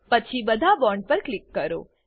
પછી બધા બોન્ડ પર ક્લિક કરો